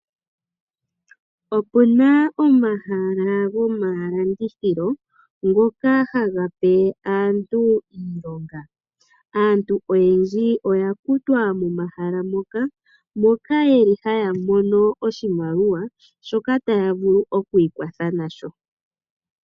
Opuna omahala gomalandithilo ngoka haga pe aantu iilonga. Aantu oyendji oyakutwa momahala moka, moka yeli haya mono oshimaliwa shoka taya vulu okwiikwatha nasho.